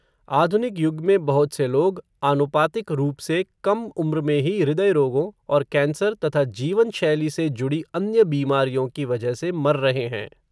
आधुनिक युग में बहुत से लोग आनुपातिक रूप से कम उम्र में ही हृदय रोगों और कैंसर तथा जीवनशैली से जुड़ी अन्य बीमारियों की वजह से मर रहे हैं.